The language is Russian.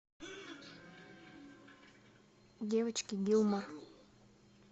девочки гилмор